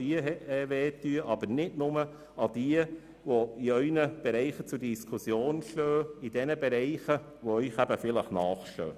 Aber denken Sie nicht nur an die Zahlen, die in Ihren Bereichen zur Diskussion stehen, in Bereichen, die Ihnen vielleicht nahestehen.